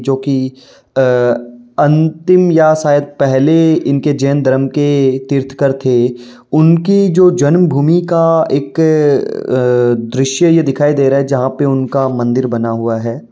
जो कि अ अंतिम या शायद पहले इनके जैन धर्म के तीर्थकर थे। उनकी जो जन्मभूमि का एक अ दृश्य ये दिखाई दे रहा है जहाँ पर उनका मंदिर बना हुआ है।